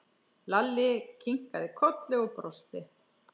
Lalli kinkaði kolli og brosti.